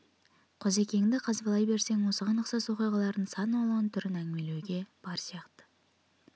қозыкеңді қазбалай берсең осыған ұқсас оқиғалардың сан алуан түрін әңгімелеуге бар сияқты